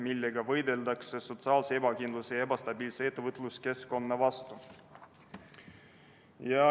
Nii võideldakse sotsiaalse ebakindluse ja ebastabiilse ettevõtluskeskkonna vastu.